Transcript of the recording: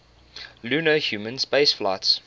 lunar human spaceflights